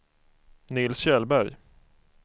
Nils Kjellberg